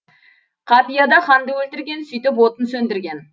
қапияда ханды өлтірген сөйтіп отын сөндірген